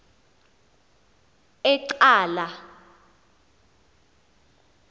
ecala